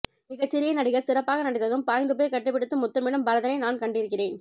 மிகச்சிறிய நடிகர் சிறப்பாக நடித்ததும் பாய்ந்துபோய் கட்டிப்பிடித்து முத்தமிடும் பரதனை நான் கண்டிருக்கிறேன்